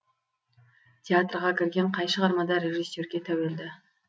театрға кірген қай шығармада режиссерге тәуелді